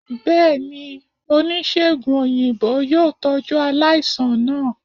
bẹẹni, onisegùn oyinbo yoo tọju alaisan naa.